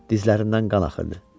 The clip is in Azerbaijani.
Dizlərindən qan axırdı.